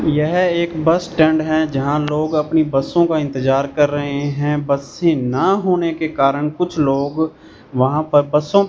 यह एक bus stand है जहां लोग अपनी बसों का इंतजार कर रहे हैं बसें ना होने के कारण कुछ लोग वहां पर बसों --